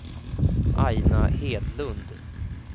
Aina Hedlund